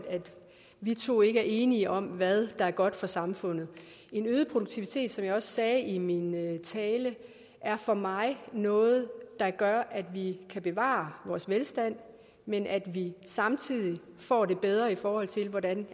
vi to ikke er enige om hvad der er godt for samfundet en øget produktivitet som jeg også sagde i min tale er for mig noget der gør at vi kan bevare vores velstand men at vi samtidig får det bedre i forhold til hvordan